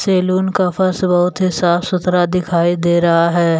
Salon का फर्श बहुत ही साफ सुथरा दिखाई दे रहा है।